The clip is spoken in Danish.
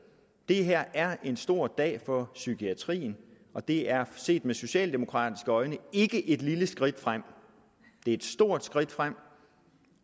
det her er en stor dag for psykiatrien og det er set med socialdemokratiske øjne ikke et lille skridt fremad det er et stort skridt fremad